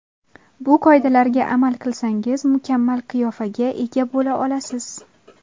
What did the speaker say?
Bu qoidalarga amal qilsangiz mukammal qiyofaga ega bo‘la olasiz.